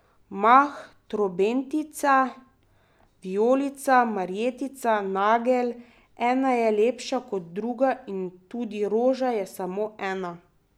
Mah, trobentica, vijolica, marjetica, nagelj, ena je lepša kot druga, in tudi roža je samo ena.